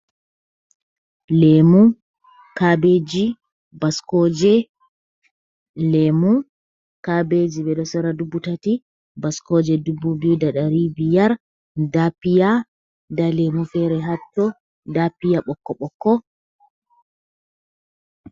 Leemu, kaabeji, baskooje. Leemu kaabeji ɓe ɗo sora dubu tati, baskooje dubu biyu da ɗari biyar. Nda piya, nda lemu fere haɗɗo, nda piya ɓokko-ɓokko.